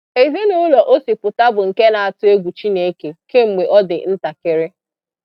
Ezinaụlọ o si pụta bụ nke na-atụ egwu Chineke kemgbe ọ dị ntakịrị.